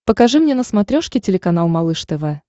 покажи мне на смотрешке телеканал малыш тв